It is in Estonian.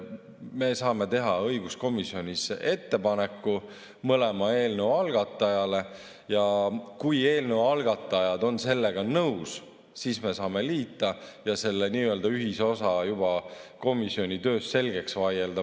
Me saame teha õiguskomisjonis ettepaneku mõlema eelnõu algatajale ja kui algatajad on sellega nõus, siis me saame liita ja selle nii-öelda ühisosa juba komisjoni töös selgeks vaielda.